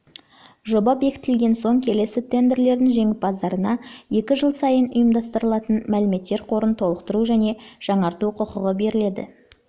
жоба бекітілген соң келесі тендерлердің жеңімпаздарына екі жыл сайын ұйымдастырылатын мәліметтер қорын толықтыру және жаңарту құқығы беріледі